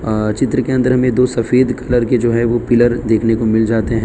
अं चित्र के अंदर में दो सफेद कलर के जो है ओ पिलर देखने को मिल जाते हैं।